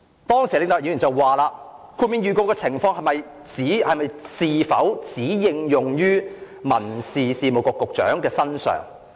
當時李永達先生問："豁免預告的情況是否只應用於民政事務局局長的身上？